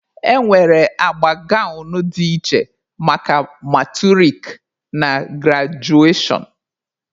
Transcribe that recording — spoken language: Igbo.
E nwere agba gawnụ dị iche maka maturik na grajuashọn.